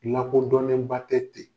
Lakodɔnnenba tɛ ten.